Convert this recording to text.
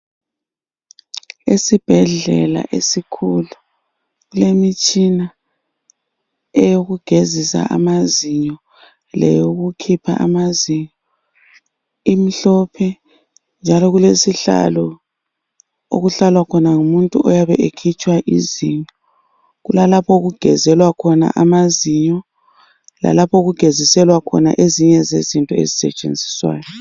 Isibhedlela isikhulu kulemitshina eyokugezisa amazinyo lowokukhipha amazinyo imhlophe njalo kulesihlalo okuhlalwa khona ngumuntu oyabe ekhitshwa amazinyo kulalapho okugeziselwa khona amazinyo lokugezelwa khona ezinye izinto ezisentshenziswayo